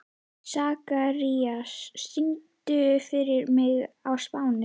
Sakarías, syngdu fyrir mig „Á Spáni“.